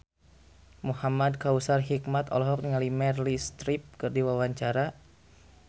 Muhamad Kautsar Hikmat olohok ningali Meryl Streep keur diwawancara